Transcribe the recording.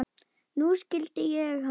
Nú skildi ég hann.